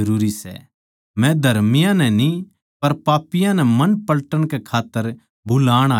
मै धर्मियाँ नै न्ही पर पापियाँ नै मन पलटन कै खात्तर बुलाण आया सूं